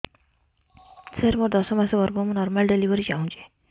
ସାର ମୋର ଦଶ ମାସ ଗର୍ଭ ମୁ ନର୍ମାଲ ଡେଲିଭରୀ ଚାହୁଁଛି